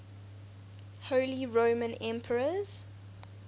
holy roman emperors